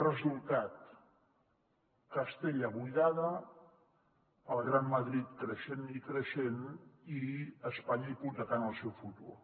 resultat castella buidada el gran madrid creixent i creixent i espanya hipotecant el seu futur